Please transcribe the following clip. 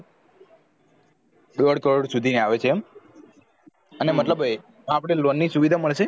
દોઢ crore સુધી ની આવે છે એમ અને મતલબન અપડે loan સુવિધા મળશે